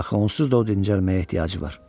Axı onsuz da o dincəlməyə ehtiyacı var.